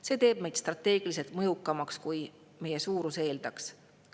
See teeb meid strateegiliselt mõjukamaks, kui meie suurus eeldaks.